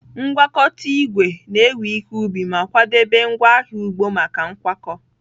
Ngwakọta igwe na-ewe ihe ubi ma kwadebe ngwaahịa ugbo maka nkwakọ.